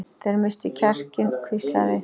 Þeir misstu kjarkinn hvíslaði